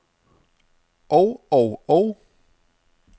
og og og